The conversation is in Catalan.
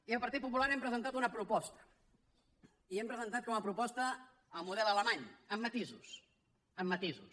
i el partit popular hem presentat una proposta i hem presentat com a proposta el model alemany amb matisos amb matisos